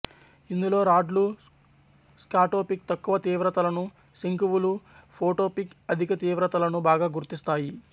ఇందులో రాడ్లు స్కాటోపిక్ తక్కువ తీవ్రతలను శంకువులు ఫోటోపిక్ అధిక తీవ్రతలను బాగా గుర్తిస్తాయి